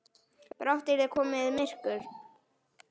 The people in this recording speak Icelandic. Brátt yrði komið myrkur.